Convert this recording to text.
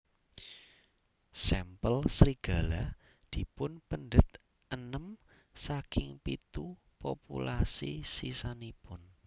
Sampel serigala dipunpendet enem saking pitu populasi sisanipun